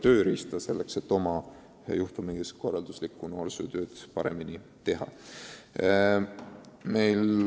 Ta lihtsalt saab ühe täiendava tööriista.